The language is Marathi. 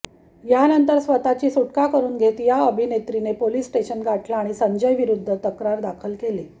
यानंतर स्वतःची सुटका करून घेत या अभिनेत्रीने पोलीस स्टेशन गाठलं आणि संजयविरुद्ध तक्रार दाखल केली